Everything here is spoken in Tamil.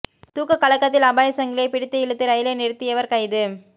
தூக்கக் கலக்கத்தில் அபாயச் சங்கிலியைப் பிடித்து இழுத்து ரயிலை நிறுத்தியவர் கைது